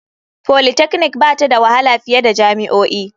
Polytechnic ba ta da wahala fiye da jami'o'i.